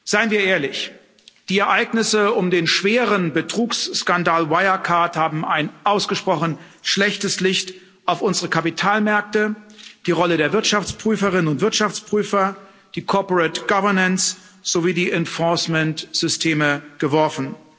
Seien wir ehrlich Die Ereignisse um den schweren Betrugsskandal Wirecard haben ein ausgesprochen schlechtes Licht auf unsere Kapitalmärkte, die Rolle der Wirtschaftsprüferinnen und Wirtschaftsprüfer, die Corporate Governance sowie die Enforcement Systeme geworfen.